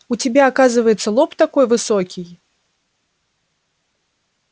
у тебя оказывается лоб такой высокий